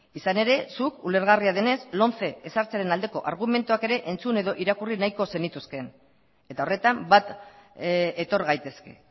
izan ere zuk ulergarria denez lomce ezartzearen aldeko argumentuak ere entzun edo irakurri nahiko zenituzke eta horretan bat etor gaitezke